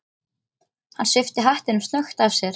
Hann svipti hattinum snöggt af sér.